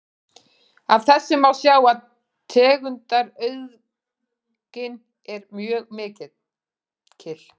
Af þessu má sjá að tegundaauðgin er mjög mikil.